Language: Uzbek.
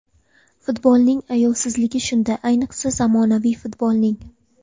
Futbolning ayovsizligi shunda, ayniqsa zamonaviy futbolning.